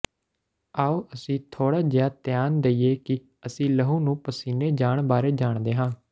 ਆਉ ਅਸੀਂ ਥੋੜਾ ਜਿਹਾ ਧਿਆਨ ਦੇਈਏ ਕਿ ਅਸੀਂ ਲਹੂ ਨੂੰ ਪਸੀਨੇ ਜਾਣ ਬਾਰੇ ਜਾਣਦੇ ਹਾਂ